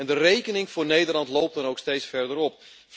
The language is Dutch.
De rekening voor Nederland loopt dan ook steeds verder op.